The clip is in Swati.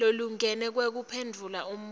lolingene wekuphendvula umbuto